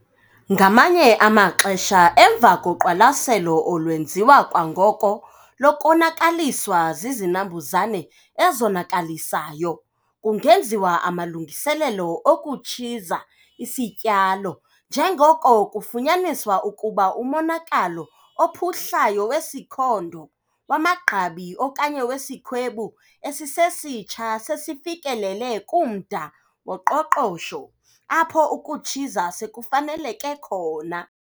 Ngamanye amaxesha emva koqwalaselo olwenziwa kwangoko lokonakaliswa zizinambuzane ezonakalisayo, kungenziwa amalungiselelo okutshiza isityalo njengoko kufunyaniswa ukuba umonakalo ophuhlayo wesikhondo, wamagqabi okanye wesikhwebu esisesitsha sesifikelele kumda woqoqosho apho ukutshiza sekufaneleke khona.